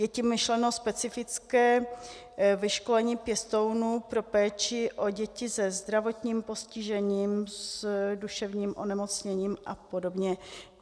Je tím myšleno specifické vyškolení pěstounů pro péči o děti se zdravotním postižením, s duševním onemocněním a podobně.